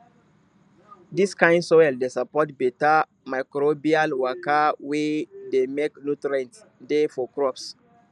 dis kind soil dey support beta microbial waka wey dey make nutrients dey for crops